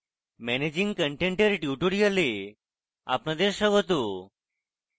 managing content এর tutorial আপনাদের স্বাগত